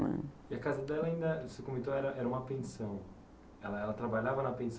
né. E a casa dela, você comentou, era era uma pensão, ela ela trabalhava na